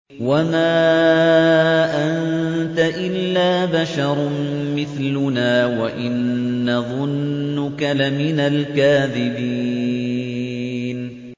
وَمَا أَنتَ إِلَّا بَشَرٌ مِّثْلُنَا وَإِن نَّظُنُّكَ لَمِنَ الْكَاذِبِينَ